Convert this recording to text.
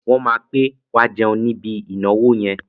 Wọ́n máa pè wá jẹun níbi ìnáwó yẹn.